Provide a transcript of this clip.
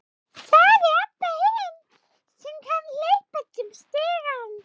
sagði Abba hin, sem kom hlaupandi upp stigann.